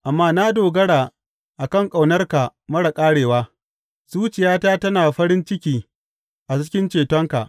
Amma na dogara a kan ƙaunarka marar ƙarewa; zuciyata tana farin ciki a cikin cetonka.